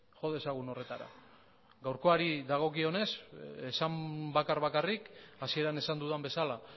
jo dezagun horretara gaurkoari dagokionez hasieran esan dudan bezala